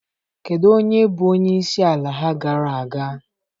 Kedu onye bụ onye isi ala ha gara aga?